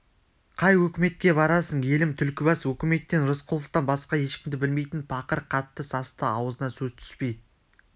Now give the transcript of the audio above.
қай өкіметке барасың елім түлкібас өкіметтен рысқұловтан басқа ешкімді білмейтін пақыр қатты састы аузына сөз түспей